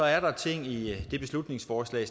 er der ting i det beslutningsforslag